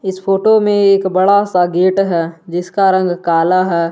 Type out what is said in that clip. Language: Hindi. इस फोटो में एक बड़ा सा गेट है जिसका रंग काला है।